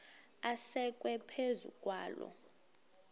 asekwe phezu kwaloo